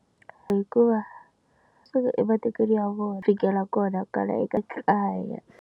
Hikuva suka ematikweni ya vona fikela kona kwala eka kaya.